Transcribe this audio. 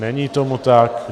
Není tomu tak.